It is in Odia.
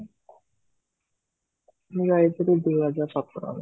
ମୁଁ ଯାଇଥିଲି ଦୁଇ ହଜାର ସତରରେ